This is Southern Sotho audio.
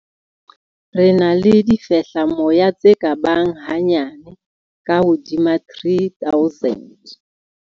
Re na le difehlamoya tse ka bang hanyane ka hodima 3 000.